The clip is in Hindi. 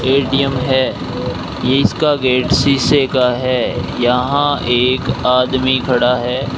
ए_टी_एम है ये इसका गेट शीशे का है यहां एक आदमी खड़ा है।